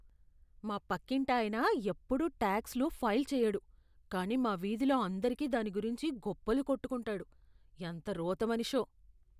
మా పక్కింటాయన ఎప్పుడూ టాక్స్లు ఫైల్ చెయ్యడు కానీ మా వీధిలో అందరికి దాని గురించి గొప్పలు కొట్టుకుంటాడు. ఎంత రోత మనిషో.